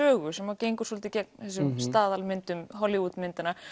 sögu sem gengur svolítið gegn þessum staðalmyndum Hollywood myndanna